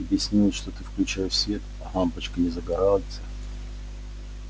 тебе снилось что ты включаешь свет а лампочка не загорается